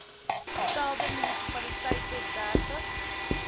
stelde munisipaliteite dertig